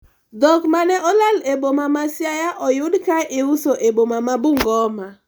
dhok mane olal e boma ma Siaya oyud ka iuso e boma ma Bungoma